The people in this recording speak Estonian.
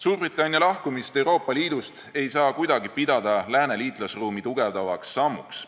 Suurbritannia lahkumist Euroopa Liidust ei saa kuidagi pidada Lääne liitlasruumi tugevdavaks sammuks.